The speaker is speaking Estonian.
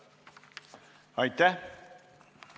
Juhtivkomisjoni ettepanek on eelnõu 152 esimene lugemine lõpetada.